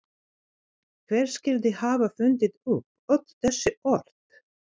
Hver skyldi hafa fundið upp öll þessi orð?